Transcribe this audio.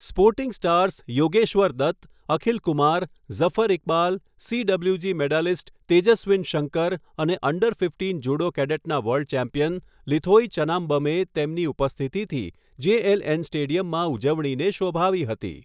Sporting stars Yogeshwar Dutt, Akhil Kumar, Zafar Iqbal, CWG medalist Tejaswin Shankar અને under fifteen judo કેડેટના world champion Linthoi ચનામ્બમે તેમની ઉપસ્થિતિથી જેએલએન સ્ટેડિયમમાં ઉજવણીને શોભાવી હતી.